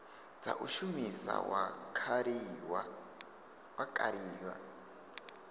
dza u shumisa wa kaliwa